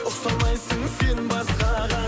ұқсамайсың сен басқаға